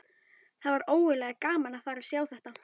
Það var ógurlega gaman að fara og sjá þetta.